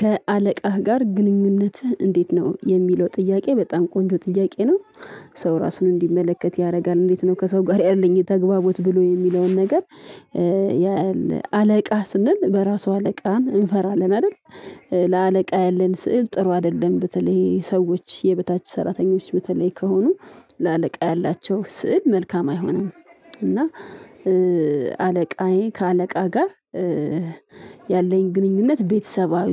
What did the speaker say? ከአለቃህ ጋር ግንኙነትህ እንዴት ነው? የሚለው ጥያቄ በጣም ቆንጆ ጥያቄ ነው። ሰው ራሱን እንዲመለከት ያደርጋል። እንዴት ነው ከሰው ጋር ያለኝ ተግባቦት ብሎ የሚለውን ነገር ያያል። አለቃ ስንል በራሱ አለቃን እንፈራለን አይደል? ለአለቃ ያለን ስዕል ጥሩ አይደለም። በተለይ ሰዎች የበታች ሰራተኞች በተለይ ከሆኑ ለአለቃ ያላቸው ስዕል መልካም አይሆንም። እና አለቃዬ ከአለቃ ጋር ያለኝ ግንኙነት ቤተሰባዊ